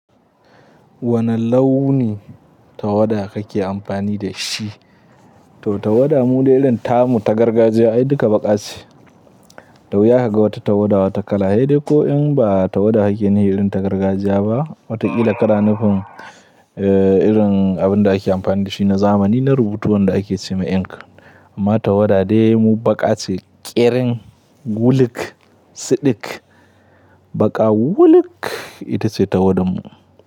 Wane launi tawadda kake amfani da shi? To tawadda mu dai irin tamu ta gargajiya, ai duka baƙa ce. Dawuya kaga wata tawadda, wata kala. Sai dai ko in ba tawadda ake nuhi irin ta gargajiya ba, wataƙila ka na nu fim, eh, irin abin da ake amfani da shi na zamani na rubutu wanda ake ce ma ink. Amma tawadda dai mu baƙa ce ƙerin wuluk, siɗik, baƙa wuluk ita ce tawadda mu.